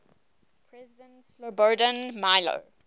president slobodan milo